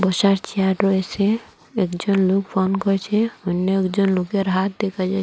বসার চেয়ার রয়েছে একজন লোক ফোন করচে অন্য একজন লোকের হাত দেখা যায়।